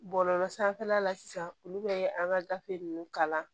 Bɔlɔlɔ sanfɛla la sisan olu bɛ an ka gafe ninnu kalan